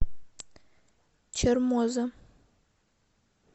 чермоза